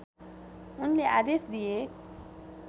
उनले आदेश दिए